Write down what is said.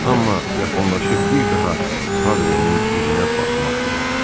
Amma yaxınlaşıb bir daha Padrenin üzünə baxmaq da olar.